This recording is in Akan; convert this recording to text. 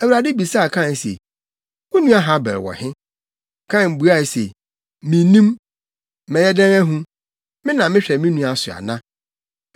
Awurade bisaa Kain se, “Wo nua Habel wɔ he?” Kain buae se, “Minnim. Mɛyɛ dɛn ahu? Me na mehwɛ me nua so ana?”